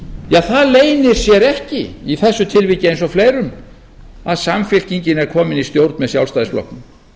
óhrekjanlega það leynir sér ekki í þessu tilviki eins og fleirum að samfylkingin er komin í stjórn með sjálfstæðisflokknum